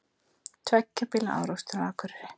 Tveggja bíla árekstur á Akureyri